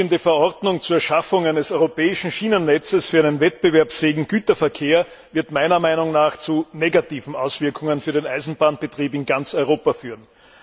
Die vorliegende Verordnung zur Schaffung eines europäischen Schienennetzes für einen wettbewerbsfähigen Güterverkehr wird meiner Meinung nach zu negativen Auswirkungen für den Eisenbahnbetrieb in ganz Europa führen.